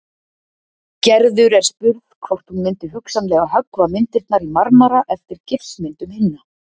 Gerður er spurð hvort hún myndi hugsanlega höggva myndirnar í marmara eftir gifsmyndum hinna.